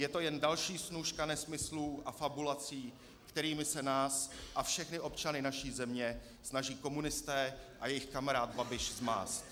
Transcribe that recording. Je to jen další snůška nesmyslů a fabulací, kterými se nás a všechny občany naší země snaží komunisté a jejich kamarád Babiš zmást.